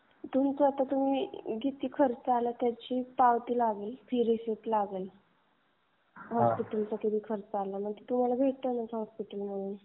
तुमचा किती खर्च आला हे त्याची पावती लागेल फी रिसीप्ट लागेल. म्हणजे ते दाखवा तुमचा किती खर्च आलाय काय आलाय? आणि ते तुम्हाला भेटेलच हॉस्पिटलमधून.